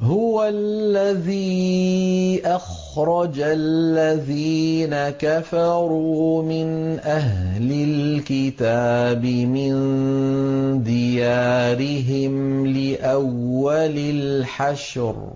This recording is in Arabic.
هُوَ الَّذِي أَخْرَجَ الَّذِينَ كَفَرُوا مِنْ أَهْلِ الْكِتَابِ مِن دِيَارِهِمْ لِأَوَّلِ الْحَشْرِ ۚ